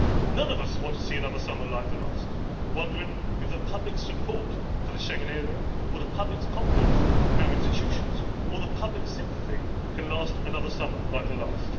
None of us wants to see another summer like the last, wondering if the public support for the Schengen area or the public's confidence in our institutions or the public sympathy can last another summer like the last.